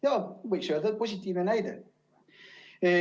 Jaa, võiks öelda, et positiivne näide.